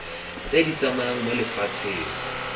tse di tsamayang mo lefatsheng